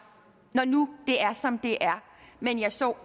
når nu det er som det er men jeg så